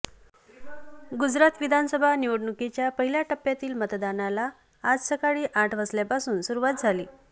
गुजरात विधानसभा निवडणुकीच्या पहिल्या टप्प्यातील मतदानाला आज सकाळी आठ वाजल्यापासून सुरूवात झाली